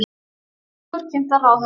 Tillögur kynntar ráðherra